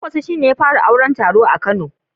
Kwankwaso shi ne ya fara auron taro a kano